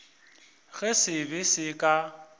ge se be se ka